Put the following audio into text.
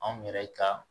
Anw yɛrɛ ka